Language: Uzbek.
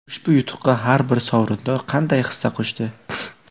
Ushbu yutuqqa har bir sovrindor qanday hissa qo‘shdi?